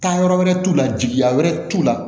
Taa yɔrɔ wɛrɛ t'u la jigiya wɛrɛ t'u la